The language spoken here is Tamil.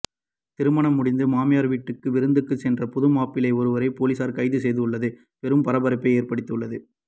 திருமணம் முடிந்து மாமியார் வீட்டிற்கு விருந்துக்குச் சென்ற புதுமாப்பிள்ளை ஒருவரை போலீசார் கைது செய்துள்ளது பெரும் பரபரப்பை ஏற்படுத்தி உள்ளது